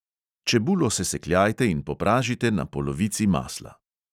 Čebulo sesekljajte in popražite na polovici masla.